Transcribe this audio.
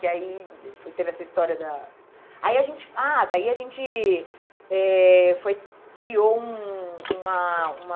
Que aí, depois teve essa história da... Aí a gente, ah, daí a gente eh foi, criou um uma, uma...